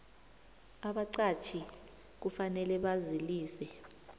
abaqatjhi kufanele bazalise